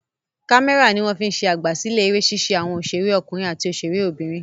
Kámẹ́rà ni wọ́n fi ń ṣe àgbàsílẹ̀ eré ṣíṣe àwọn òṣèré ọkùnrin àti òṣèré obìnrin.